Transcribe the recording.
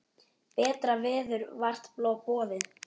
Betra verður vart boðið.